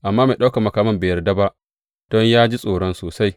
Amma mai ɗaukan makaman bai yarda ba don ya ji tsoro sosai.